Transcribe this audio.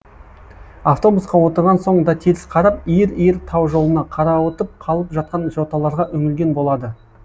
автобусқа отырған соң да теріс қарап иір иір тау жолына қарауытып қалып жатқан жоталарға үңілген болады